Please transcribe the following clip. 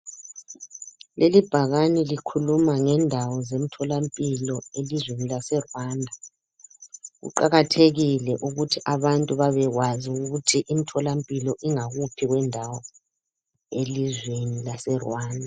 Lelibhakani likhuluma ngendawo zemtholampilo elizweni lase Rwanda. Kuqakathekile ukuthi abantu babekwazi ukuthi imtholampilo ingakuphi kwendawo elizweni laseRwanda.